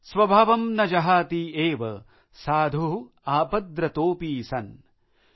स्वभावं न जहाति एव साधु आपद्रतोपी सन ।